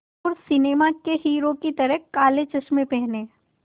और सिनेमा के हीरो की तरह काले चश्मे पहने